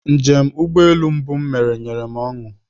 Njem ụgbọelu mbụ m mere nyere m ọṅụ